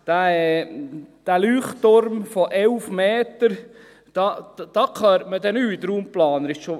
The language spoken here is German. Dieser Leuchtturm von 11 Metern, da hört man dann raumplanerisch nichts.